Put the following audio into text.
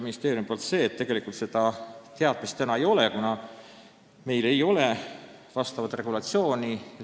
Ministeeriumi vastus oli selline, et tegelikult meil praegu seda teadmist ei ole, kuna meil ei ole vastavat regulatsiooni.